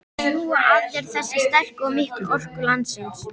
Sjúga að sér þessa sterku og miklu orku landsins.